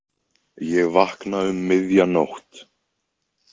Ég vakna um miðja nótt.